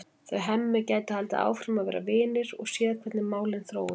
Þau Hemmi gætu haldið áfram að vera vinir og séð hvernig málin þróuðust.